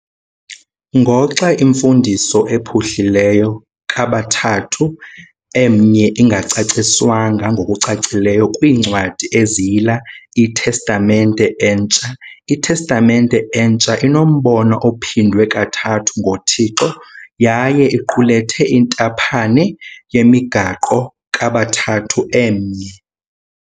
Ngoxa imfundiso ephuhlileyo kaBathathu Emnye ingacaciswanga ngokucacileyo kwiincwadi eziyila iTestamente Entsha, iTestamente Entsha inombono ophindwe kathathu ngoThixo yaye iqulethe intaphane yemigaqo kaBathathu Emnye.